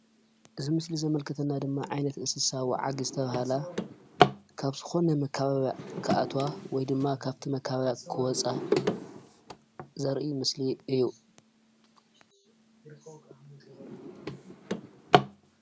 እዚ ምስሊ ዘመልክተና ድማ ዓይነት እንስሳ ወዓግ ዝተባሃለ ካብ ዝኾነ መከባብያ ክኣትዋ ወይ ድማ ካብቲ መካበብያ ክወፃ ዘርኢ ምስሊ እዩ፡፡